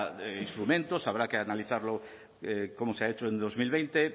instrumentos habrá que analizarlo como se ha hecho en dos mil veinte